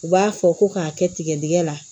U b'a fɔ ko k'a kɛ tigɛdigɛ la